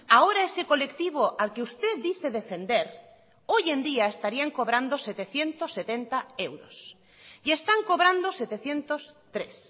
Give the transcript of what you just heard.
ahora ese colectivo al que usted dice defender hoy en día estarían cobrando setecientos setenta euros y están cobrando setecientos tres